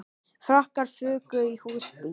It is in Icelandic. Frakkar fuku í húsbíl